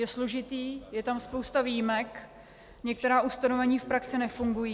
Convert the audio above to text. Je složitý, je tam spousta výjimek, některá ustanovení v praxi nefungují.